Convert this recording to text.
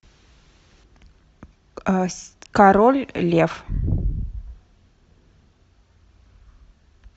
король лев